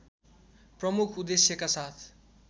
प्रमुख उद्देश्यका साथ